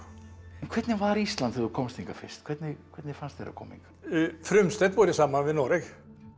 en hvernig var Ísland þegar þú komst hingað fyrst hvernig hvernig fannst þér að koma hingað frumstætt borið saman við Noreg